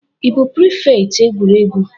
Ị bụ prịfèkt egwuregwu?